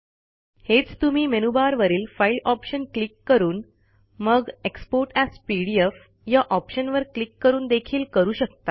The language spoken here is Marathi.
हेच तुम्ही मेनूबारवरील फाईल ऑप्शन क्लिक करून मग एक्सपोर्ट एएस पीडीएफ या ऑप्शनवर क्लिक करून देखील करू शकता